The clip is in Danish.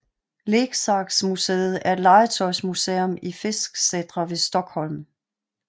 Leksaksmuseet er et legetøjsmuseum i Fisksätra ved Stockholm